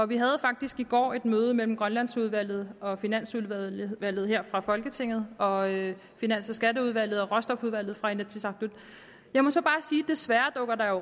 vi havde faktisk i går et møde mellem grønlandsudvalget og finansudvalget her fra folketinget og finans og skatteudvalget og råstofudvalget fra inatsisartut jeg må så bare sige desværre dukker